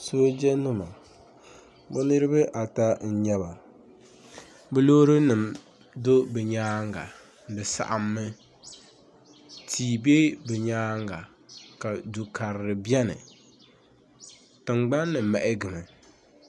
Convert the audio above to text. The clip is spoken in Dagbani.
Soojenima bɛ niriba ata n-nyɛ ba bɛ loorinima n-do bɛ nyaaŋa di saɣimmi tia be bɛ nyaaŋa ka du' karili beni tiŋgbani ni mahigimi